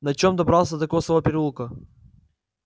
на чем добрался до косого переулка